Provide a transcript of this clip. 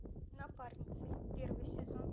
напарницы первый сезон